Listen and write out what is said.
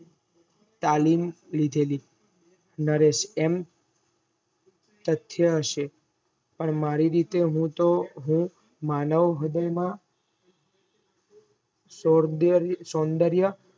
તાલીમ લીધેલી નરેશ એમ તથ્ય હશે પણ મારી રીતે હું તોહ માનવ હ્રદય માં સૌન્દર્ય